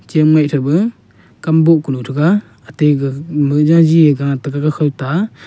cham ngeh thaiba kam boh kunu thaiga ate ga khao ta.